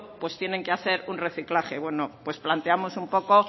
tienen que hacer un reciclaje bueno pues planteamos un poco